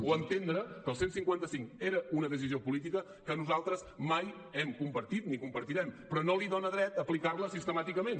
o entendre que el cent i cinquanta cinc era una decisió política que nosaltres mai hem compartit ni compartirem però no li dona dret a aplicar la sistemàticament